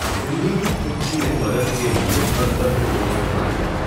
بلی کی پچی نے مدد کے لئے بندر کو دوست بنا لیا۔